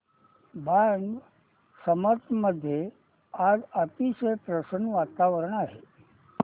जांब समर्थ मध्ये आज अतिशय प्रसन्न वातावरण आहे